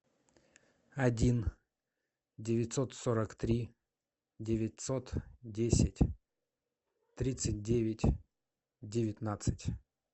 один девятьсот сорок три девятьсот десять тридцать девять девятнадцать